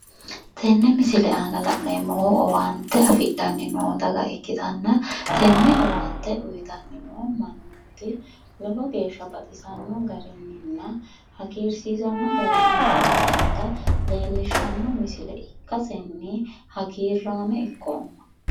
Tene misile aana la'neemmohu owaante afidhanni noo daga ikkitanna tenne owaante uyiitanni noo mannooti lowo geya baxisanno garinninna hagiirsiisanno garinni uyiitanni noota leellishshanno misile ikkasenni hagiirraame ikkoomma.